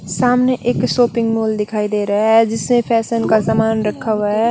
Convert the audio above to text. सामने एक shopping mall दिखाई देरा है जिसमे फेसन का सामान रखा वा है।